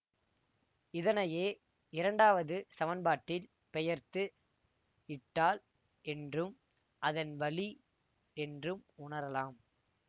இதனையே இரண்டாவது சமன்பாட்டில் பெயர்த்து இட்டால் என்றும் அதன் வழி என்றும் உணரலாம்